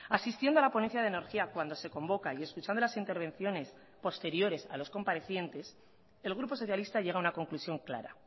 asistiendo a la ponencia de energía cuando se convoca y escuchando las intervenciones posteriores a los comparecientes el grupo socialista llega a una conclusión clara